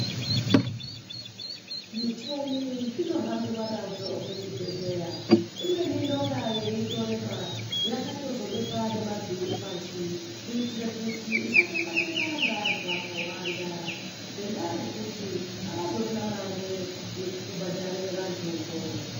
Zvimicheni zvinohambiwa nazvo muchibhedhleya. Imweni inonga yeitorema .Yakatozobekwa nemavhiri pashi, kuitire kuti isatekwa- tekwa ngeantu akawanda ,ngendaa yekuti avazorina mare yekubhadhare vantuwo.